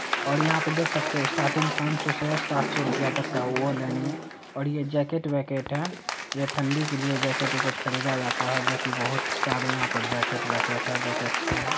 और यहाँ पे देख सकते है स्टार्टिंग पानसो से सातसो रूपया तक का वोलेन में और यह जॅकेट वेकेट है ये ठंडी के लिए जॅकेट वेकेट ख़रीदा जाता है जो की बहुत सारे यहाँ पर जॅकेट वेकेट है जो की अच्छे है ।